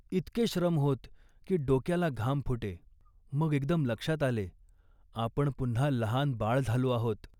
इतके श्रम होत, की डोक्याला घाम फुटे. मग एकदम लक्षात आले, आपण पुन्हा लहान बाळ झालो आहोत